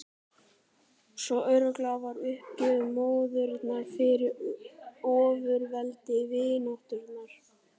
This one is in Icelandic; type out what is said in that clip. Svo algjör var uppgjöf móðurinnar fyrir ofurveldi vináttunnar.